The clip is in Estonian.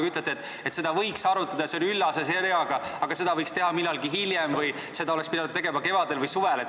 Te ütlete, et seda võiks arutada, see on üllas ja hea, aga seda võiks teha millalgi hiljem või seda oleks pidanud tegema kevadel või suvel.